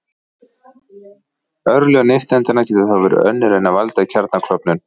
Örlög nifteindanna geta þó verið önnur en að valda kjarnaklofnun.